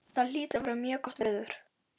Það hlýtur að vera mjög gott veður.